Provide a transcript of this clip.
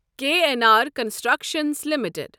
K N R construction limited